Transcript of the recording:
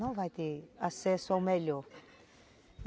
Não vai ter acesso ao melhor.